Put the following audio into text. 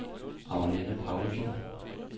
Agnes Paulsen